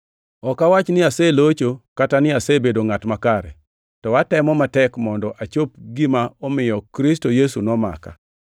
Ok awach ni aselocho kata ni asebedo ngʼat makare, to atemo matek mondo achop gima omiyo Kristo Yesu nomaka.